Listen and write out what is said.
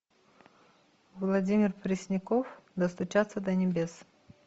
владимир пресняков достучаться до небес